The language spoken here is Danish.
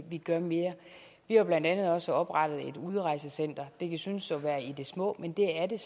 vi gør mere vi har blandt andet også oprettet et udrejsecenter det kan synes at være i det små men det er det